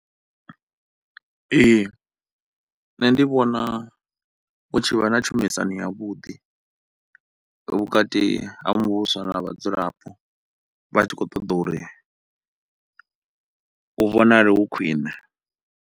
Ee, nṋe ndi vhona hu tshi vha na tshumisano ya vhuḓi vhukati ha muvhuso na vhadzulapo vha tshi kho ṱoḓa uri u vhonale u khwiṋe.